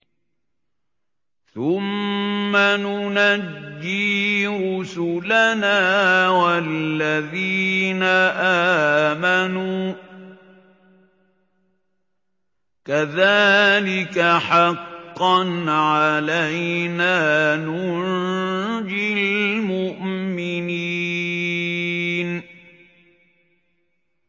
ثُمَّ نُنَجِّي رُسُلَنَا وَالَّذِينَ آمَنُوا ۚ كَذَٰلِكَ حَقًّا عَلَيْنَا نُنجِ الْمُؤْمِنِينَ